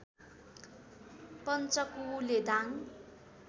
Panchakule Dang